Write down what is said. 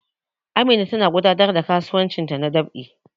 Amina tana gudanar da kasuwancinta na dab'i